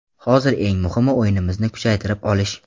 Hozir eng muhimi o‘yinimizni kuchaytirib olish.